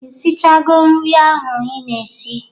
Ishichago nri ahụ ị na-eshi?